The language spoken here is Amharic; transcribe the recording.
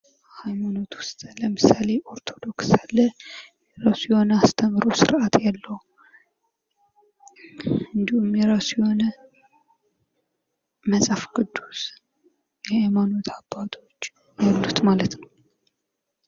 ሃይማኖት ውስጥ ለምሳሌ ኦርቶዶክስ አለ የራሱ የሆነ አስተምህሮ ስርአት ያለው እንድሁም የራሱ የሆነ መጽሐፍ ቅዱስ የሃይማኖት አባቶች አሉት ማለት ነው።